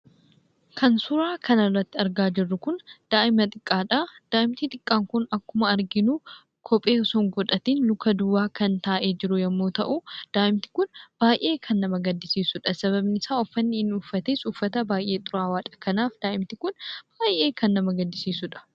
Kan suuraa kanarratti argaa jirru kun daa'ima xiqqaadha. Daa'imti xiqqaan kun akkuma arginu kophee osoo hin godhatin luka duwwaa kan taa'ee jiru yommuu ta'u, daa'imti kun baay'ee kan nama gaddisiisuu dha. Sababni isaa, uffanni inni uffates uffata baay'ee xuraawaa dha. Kanaaf, daa'imti baay'ee kan nama gaddisiisuu dha.